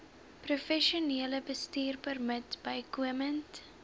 professionele bestuurpermit bykomend